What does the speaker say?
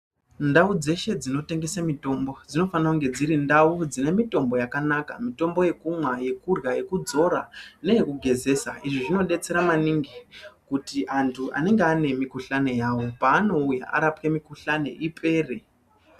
Ndau dzeshe dzinotengese mitombo dzinofane kunge dziri ndau dzine mitombo yakanaka. Mitombo yekumwa, yekurya, yekudzora neyekugezesa, izvi zvinodetsera maningi kuti antu anenge ane mikhuhlani yawo paanouya arapwe mikhuhlani ipere.